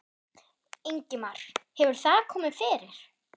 Ingimar: Hefur það komið fyrir?